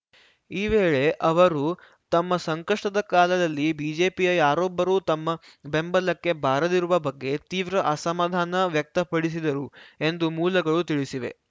ಈ ವೇಳೆ ಅವರು ತಮ್ಮ ಸಂಕಷ್ಟದ ಕಾಲದಲ್ಲಿ ಬಿಜೆಪಿಯ ಯಾರೊಬ್ಬರೂ ತಮ್ಮ ಬೆಂಬಲಕ್ಕೆ ಬಾರದಿರುವ ಬಗ್ಗೆ ತೀವ್ರ ಅಸಮಾಧಾನ ವ್ಯಕ್ತಪಡಿಸಿದರು ಎಂದು ಮೂಲಗಳು ತಿಳಿಸಿವೆ